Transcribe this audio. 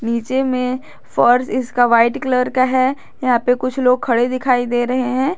नीचे में फर्श इसका व्हाइट कलर का है यहां पे कुछ लोग खड़े दिखाई दे रहे हैं।